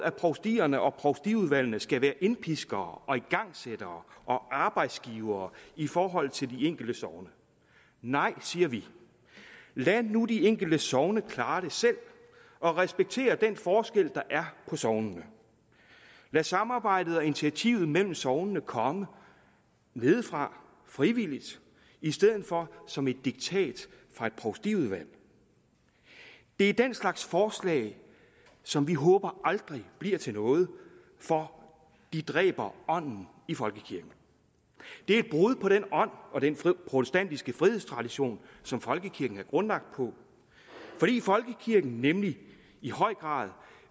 at provstierne og provstiudvalgene skal være indpiskere og igangsættere og arbejdsgivere i forhold til de enkelte sogne nej siger vi lad nu de enkelte sogne klare det selv og respektér den forskel der er på sognene lad samarbejdet og initiativet mellem sognene komme nedefra frivilligt i stedet for som et diktat fra et provstiudvalg det er den slags forslag som vi håber aldrig bliver til noget for de dræber ånden i folkekirken det er et brud på den ånd og den protestantiske frihedstradition som folkekirken er grundlagt på fordi folkekirken nemlig i høj grad